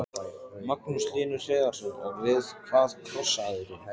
Magnús Hlynur Hreiðarsson: Og við hvað krossaðirðu?